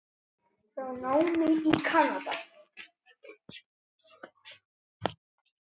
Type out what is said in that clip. frá námi í Kanada.